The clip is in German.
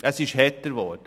Es ist härter geworden.